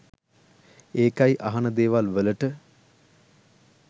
ඒකයි අහන දේවල් වලට